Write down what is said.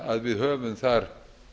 að við höfum þar